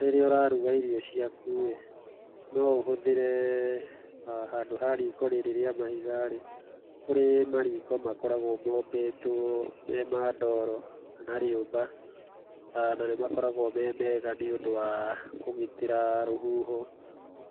Rĩrĩa ũraruga irio ciaku-ĩ, no ũhũthĩre handũ ha riko rĩrĩ rĩa mahiga-rĩ, kũrĩ mariko makoragwo mombĩtwo me ma ndoro kana rĩũmba, na nĩ makoragwo me mega nĩũndũ wa kũgitĩra rũhuho